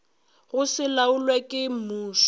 go se laolwe ke mmušo